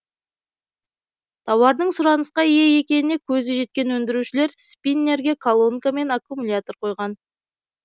тауардың сұранысқа ие екеніне көзі жеткен өндірушілер спиннерге колонка мен аккумулятор қойған